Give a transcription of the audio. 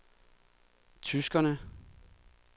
tyskerne